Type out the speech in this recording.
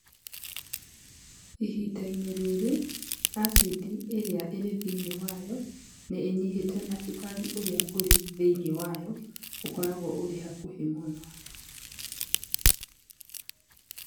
Ihinda-inĩ rĩrĩ, acid ĩrĩa ĩrĩ thĩinĩ wayo nĩ ĩnyihĩte na cukari ũrĩa ũrĩ thĩinĩ wayo ũkoragwo ũrĩ hakuhĩ mũno.